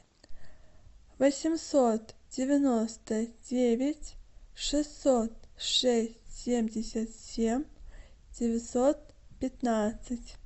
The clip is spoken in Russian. восемьсот девяносто девять шестьсот шесть семьдесят семь девятьсот пятнадцать